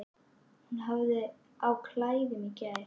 Hún hafði á klæðum í gær.